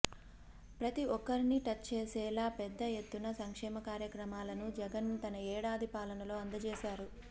ప్రతి ఒక్కరిని టచ్ చేసేలా పెద్ద ఎత్తున సంక్షేమ కార్యక్రమాలను జగన్ తన ఏడాది పాలనలో అందచేశారు